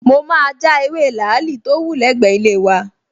Mo máa ja ewé làálì tó wù lẹ́gbẹ̀ẹ́ ilé wa